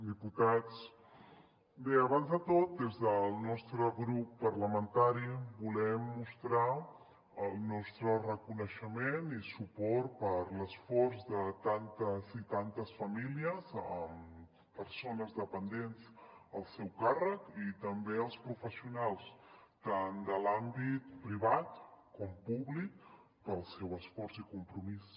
diputats bé abans de tot des del nostre grup parlamentari volem mostrar el nostre reconeixement i suport a l’esforç de tantes i tantes famílies amb persones dependents al seu càrrec i també als professionals tant de l’àmbit privat com públic pel seu esforç i compromís